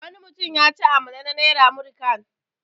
Wani mutum yaci amalam na naira 'Muri kan'.